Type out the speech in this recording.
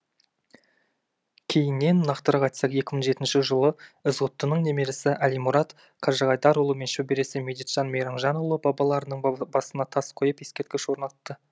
кейіннен нақтырақ айтсақ екі мың жетінші жылы ізғұттының немересі әлимұрат қажығайдарұлы мен шөбересі медетжан мейрамжанұлы бабаларының басына тас қойып ексерткіш орнатты